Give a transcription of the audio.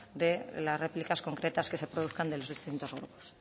de las réplicas concretas que se produzcan de los distintos grupos